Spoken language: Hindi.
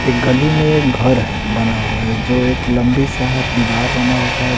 एक गली में एक घर है बना हुआ है जो एक लंबी सा दीवार बना हुआ है।